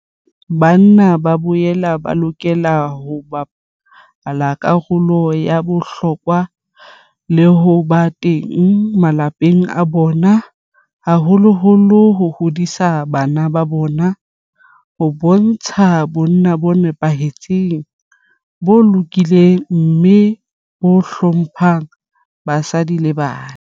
Banna ba boela ba lokela ho bapala karolo ya bohlokwa le ho ba teng malapeng a bona, haholoholo ho hodiseng bara ba bona ho bontsha bonna bo nepahetseng, bo lokileng mme bo hlo mphang basadi le bana.